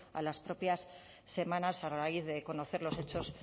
a las propias semanas a raíz de conocer los hechos